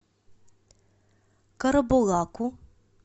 карабулаку